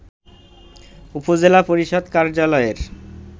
উপজেলা পরিষদ কার্যালয়ের